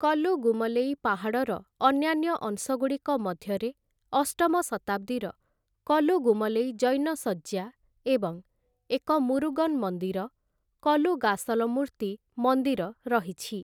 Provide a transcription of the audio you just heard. କଲୁଗୁମଲୈ ପାହାଡ଼ର ଅନ୍ୟାନ୍ୟ ଅଂଶଗୁଡ଼ିକ ମଧ୍ୟରେ ଅଷ୍ଟମ ଶତାବ୍ଦୀର କଲୁଗୁମଲୈ ଜୈନ ଶଯ୍ୟା ଏବଂ ଏକ ମୁରୁଗନ୍‌ ମନ୍ଦିର, କଲୁଗାସଲମୂର୍ତ୍ତି ମନ୍ଦିର ରହିଛି ।